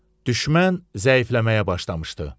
Düşmən zəifləməyə başlamışdı.